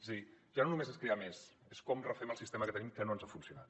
és a dir ja no no·més és crear més és com refem el sistema que tenim que no ens ha funcionat